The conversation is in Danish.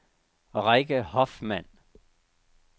Rikke Hoffmann